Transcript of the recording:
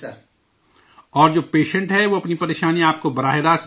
اور جو پیشنٹ ہے وہ اپنی پریشانیاں آپ کو سیدھے بتاتا ہے